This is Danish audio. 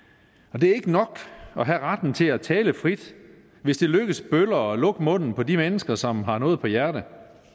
og det er ikke nok at have retten til at tale frit hvis det lykkes bedre at lukke munden på de mennesker som har noget på hjerte